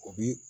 O bi